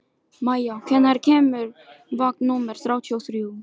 Maia, hvenær kemur vagn númer þrjátíu og þrjú?